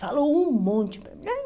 Falou um monte para mim.